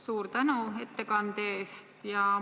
Suur tänu ettekande eest!